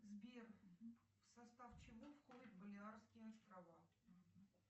сбер в состав чего входят болиарские острова